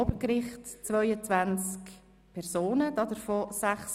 Wir haben am Obergericht 22 Personen, 6 Frauen und 16 Männer.